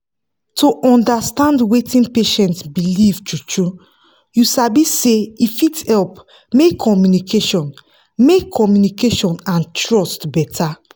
to understand wetin patient believe true-true you sabi say e fit help make communication make communication and trust better.